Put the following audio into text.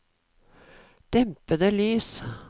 dempede lys